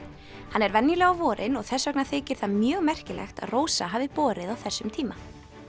hann er venjulega á vorin og þess vegna þykir það mjög merkilegt að Rósa hafi borið á þessum tíma